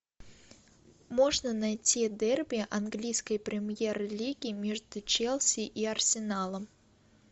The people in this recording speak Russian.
можно найти дерби английской премьер лиги между челси и арсеналом